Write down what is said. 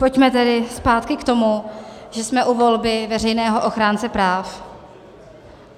Pojďme tedy zpátky k tomu, že jsme u volby veřejného ochránce práv.